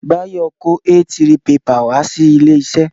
Bayo kó A3 pepà wá sí ilé iṣẹ́